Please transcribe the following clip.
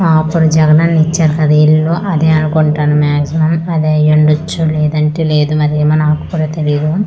ఆ అప్పుడు జగ్గనన్న ఇచ్చారు కదా ఇల్లు అదే అనుకుంటను మ్యాగీజిమమ్ అదే అయుండచ్చు లేదంటే లేదు మరి ఏమో నాకు కూడా తెలీదు.